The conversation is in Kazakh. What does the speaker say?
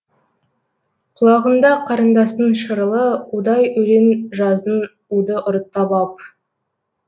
құлағыңда қарындастың шырылы удай өлең жаздың уды ұрттап ап